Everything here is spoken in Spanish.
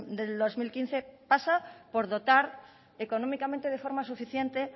del dos mil quince pasa por dotar económicamente de forma suficiente